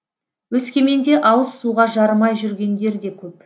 өскеменде ауыз суға жарымай жүргендер де көп